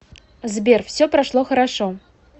сбер все прошло хорошо